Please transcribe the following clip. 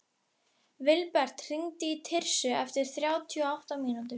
Vilbert, hringdu í Tirsu eftir þrjátíu og átta mínútur.